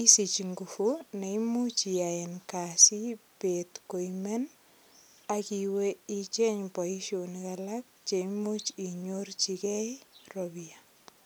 isich ngufuneimuch iyaen kasit bet koimen ak iwe icheng boisionik alak che imuch inyorchigei ropia.